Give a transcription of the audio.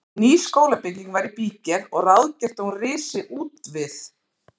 Ný skólabygging var í bígerð og ráðgert að hún risi útvið